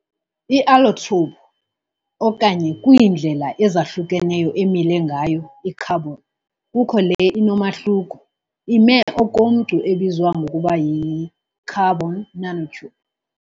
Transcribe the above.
I-allotrope okanye kwiindlela ezahlukeneyo emile ngayo i-carbon kukho le inomahluko, ime okomcu ebizwa ngokuba yi-carbon nanotube.